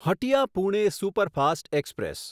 Hatia Pune superfast express